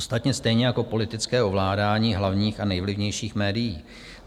Ostatně stejně jako politické ovládání hlavních a nejvlivnějších médií.